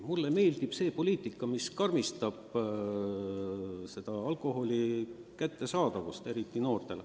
Mulle meeldib poliitika, mis raskendab alkoholi kättesaadavust, eriti noortel.